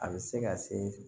A bɛ se ka se